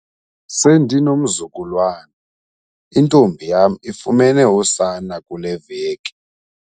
Sendinomzukulwana, intombi yam ifumene usana kule veki.